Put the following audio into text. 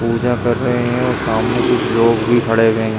पूजा कर रहे है और सामने कुछ लोग भी खड़े हुए हैं।